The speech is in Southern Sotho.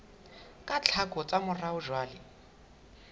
ka tlhako tsa morao jwale